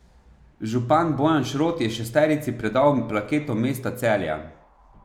Župan Bojan Šrot je šesterici predal plaketo mesta Celja.